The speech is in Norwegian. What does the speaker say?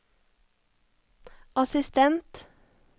assistent